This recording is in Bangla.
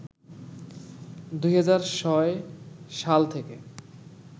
২০০৬ সাল থেকে